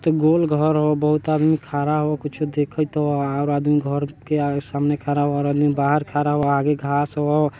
तो गोल घौर हैऊ बहुत आदमी खरा हो कुछु देखत वा और आदमी घर के सामने खरा होर आदमी बहार खरा बहार आगे घास हो।